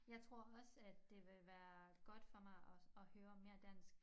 Jeg tror også at det vil være godt for mig at høre mere dansk